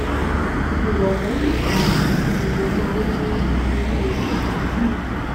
ìrọ̀lẹ́ nìkan ni mo máa ń ní irú èrò yìí